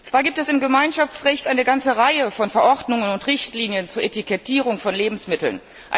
Zwar gibt es im Gemeinschaftsrecht eine ganze Reihe von Verordnungen und Richtlinien zur Etikettierung von Lebensmitteln.